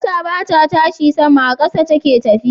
Mota bata tashi sama,a ƙasa take tafiya